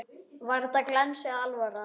Var þetta glens eða alvara?